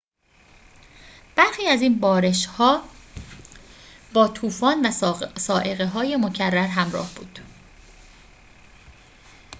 برخی از این بارش‌ها با طوفان و صاعقه‌های مکرر همراه بود